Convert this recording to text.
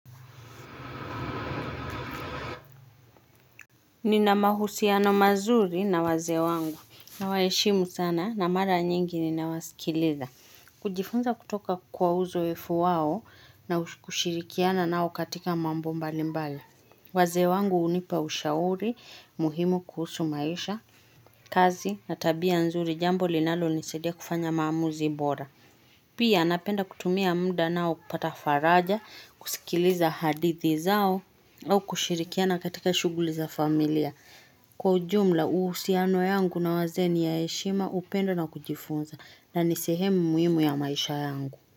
Nina mahusiano mazuri na wazee wangu. Nawaheshimu sana na mara nyingi ninawasikiliza. Kujifunza kutoka kwa uzoefu wao na kushirikiana nao katika mambo mbali mbali. Wazee wangu hunipa ushauri, muhimu kuhusu maisha, kazi na tabia nzuri jambo linalonisaidia kufanya maamuzi bora. Pia anapenda kutumia mda nao kupata faraja, kusikiliza hadithi zao, au kushirikiana katika shughuli za familia. Kwa jumla, uhusiano yangu na wazee ni ya heshima upendo na kujifunza na ni sehemu muhimu ya maisha yangu.